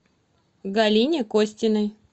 галине костиной